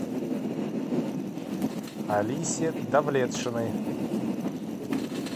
алисе давлетшиной